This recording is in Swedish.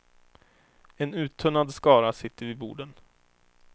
En uttunnad skara sitter vid borden.